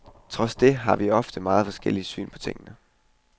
Trods det har vi ofte meget forskellige syn på tingene.